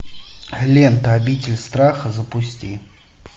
лента обитель страха запусти